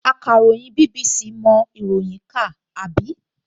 Akàròyìn BBC mọ ìròyìn kà, àbí?